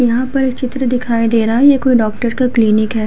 यहाँ पर चित्र दिखाई दे रहा है। ये कोई डॉक्टर का क्लिनिक है।